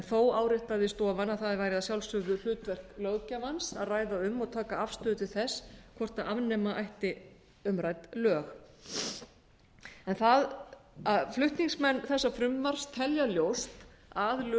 þó áréttaði stofan að það væri að sjálfsögðu hlutverk löggjafans að ræða um og taka afstöðu til þess hvort afnema ætti umrædd lög flutningsmenn þessa frumvarps telja ljóst að lög um